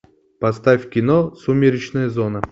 поставь кино сумеречная зона